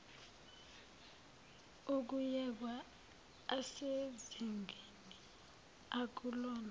ukuyekwa asezingeni akulona